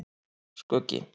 Skuggi